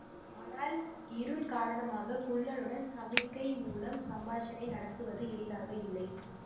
ஆனால் இருள் காரணமாக குள்ளனுடன் சமிக்ஞை மூலம் சம்பாஷணை நடத்துவது எளிதாக இல்லை